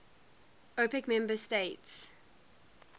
opec member states